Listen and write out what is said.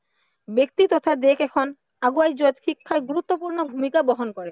ব্য়ক্তি তথা দেশ এখন আগুৱাই যোৱাত শিক্ষাই গুৰুত্বপূৰ্ণ ভূমিকা বহন কৰে